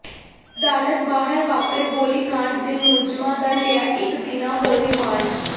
ਅਦਾਲਤ ਬਾਹਰ ਵਾਪਰੇ ਗੋਲੀਕਾਂਡ ਦੇ ਮੁਲਜ਼ਮਾਂ ਦਾ ਲਿਆ ਇਕ ਦਿਨਾ ਹੋਰ ਰਿਮਾਂਡ